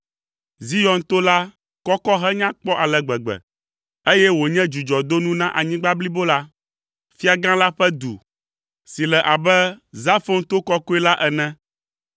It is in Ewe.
Zion to la kɔkɔ henya kpɔ ale gbegbe, eye wònye dzudzɔdonu na anyigba blibo la. Fia gã la ƒe du, si le abe Zafon to kɔkɔe la ene.